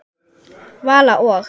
Vala og